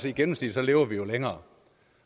i gennemsnit lever vi jo længere